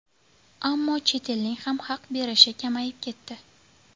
Ammo chet elning ham haq berishi kamayib ketdi.